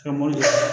Ka mobili